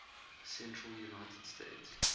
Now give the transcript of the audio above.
central united states